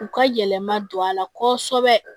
U ka yɛlɛma don a la kɔsɛbɛ